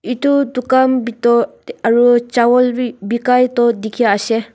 edu dukan bito aru chawal bi bikai toh dikhiase.